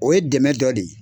O ye dɛmɛ dɔ de ye